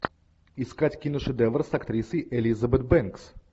искать киношедевр с актрисой элизабет бэнкс